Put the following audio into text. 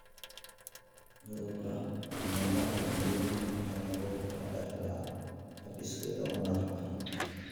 Cudurka Camurati Engelmann waxa lagu kala dhaxlaa hab iskeed u madaxbannaan.